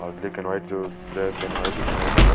अर लिखण वाइ जो ब्लैक एंड व्हाइट दिखेणि च वे।